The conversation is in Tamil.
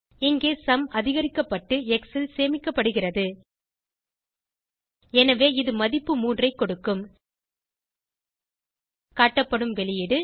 இங்கே சும் அதிகரிக்கப்பட்டு எக்ஸ் ல் சேமிக்கப்படுகிறது எனவே இது மதிப்பு 3 ஐ கொடுக்கும் காட்டப்படும் வெளியீடு